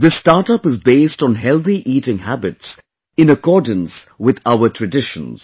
This StartUp is based on healthy eating habits in accordance with our traditions